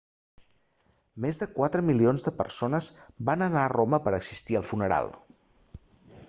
més de quatre milions de persones van anar a roma per a assistir al funeral